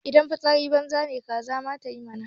Idan fitsari banza ne kaza ma tayi mana.